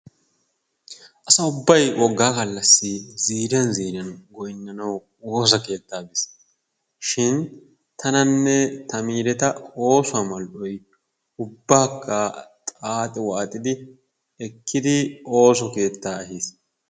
Asa ubbay woggaa gallassi ziiriyan ziiriyan goyinnanawu woosa keettaa bisshin tananne ta miireta oosuwa mal'oy ubbaakka xaaxi waaxidi ekkidi ooso keettaa ehis.